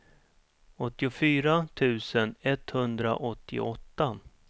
åttiofyra tusen etthundraåttioåtta